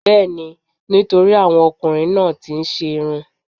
Bẹẹni, nítorí àwọn ọkùnrin náà tí ń ṣe'rún.